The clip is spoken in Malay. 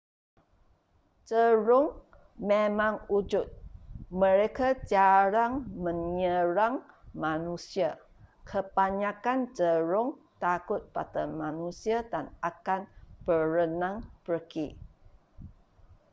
jerung memang wujud mereka jarang menyerang manusia kebanyakan jerung takut pada manusia dan akan berenang pergi